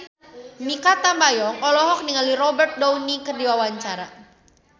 Mikha Tambayong olohok ningali Robert Downey keur diwawancara